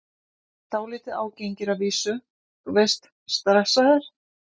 Dálítið ágengir að vísu, þú veist, stressaðir.